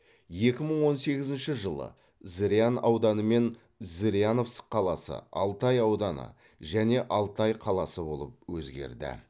екі мың он сегізінші жылы зырян ауданы мен зыряновск қаласы алтай ауданы және алтай қаласы болып өзгерді